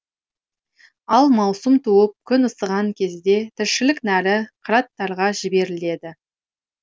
ал маусым туып күн ысыған кезде тіршілік нәрі қыраттарға жіберіледі